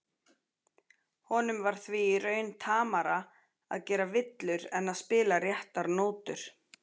Honum var því í raun tamara að gera villur en að spila réttar nótur.